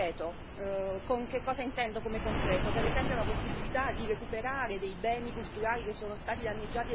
Cosa intendo per concreto? Per esempio la possibilità di recuperare dei beni culturali che sono stati danneggiati da calamità naturali.